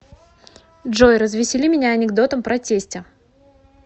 джой развесели меня анекдотом про тестя